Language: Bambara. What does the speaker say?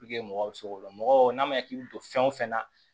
mɔgɔw bɛ se k'o dɔn mɔgɔw n'a ma k'i bɛ don fɛn o fɛn na